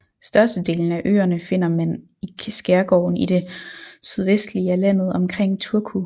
Størstedelen af øerne finder mand i skærgården i det sydvestlige af landet omkring Turku